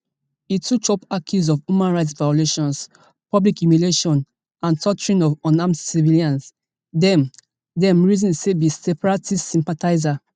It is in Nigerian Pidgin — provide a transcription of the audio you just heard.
e too chop accuse of human rights violations public humiliation and torturing of unarmed civilians dem dem reason say be separatist sympathisers